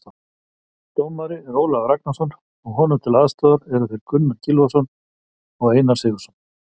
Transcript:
Dómari er Ólafur Ragnarsson og honum til aðstoðar þeir Gunnar Gylfason og Einar Sigurðsson.